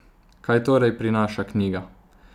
Kaj torej prinaša knjiga?